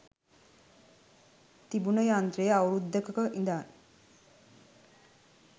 තිබුන යන්ත්‍රය අවුරුදුකක ඉදන්